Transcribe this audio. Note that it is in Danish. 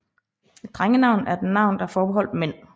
Et drengenavn er et navn der er forbeholdt mænd